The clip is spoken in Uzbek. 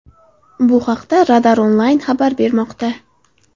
Bu haqda Radar Online xabar bermoqda .